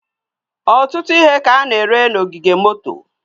ọtụtụ ihe ka a na-ere n'ogige moto.